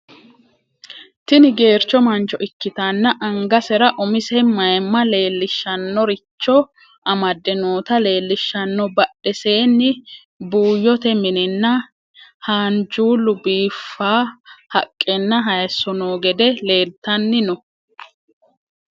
tini geercho mancho ikkitanna angasera umise mayimma leellishshannoricho amade noota leellishshanno. badhesenni buuyyote mininna haanjullu biiffa haqqenna hayiso no gede leeltanni no.